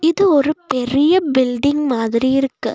இது ஒரு பெரிய பில்டிங் மாதிரி இருக்கு.